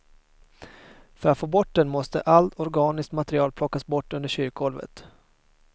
För att få bort den måste allt organiskt material plockas bort under kyrkgolvet.